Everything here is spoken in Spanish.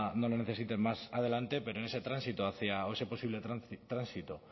necesiten más adelante pero en ese tránsito hacia o ese posible tránsito